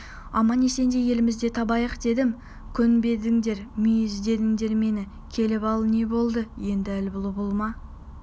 аман-есенде елімізді табайық дедім көнбедіңдер мүйіз дедіңдер мені келіп ал не болды енді әлі бұл-бұл ма